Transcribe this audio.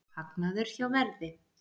Hagnaður hjá Verði